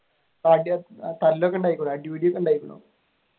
അടിപിടിയൊക്കെ ഉണ്ടായിരിക്കണോ?